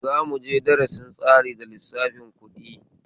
Za muje darasin tsari da lissafin ƙuɗi